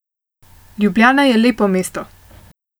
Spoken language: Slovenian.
Ljubljana je lepo mesto.